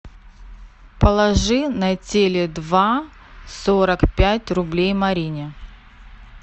положи на теле два сорок пять рублей марине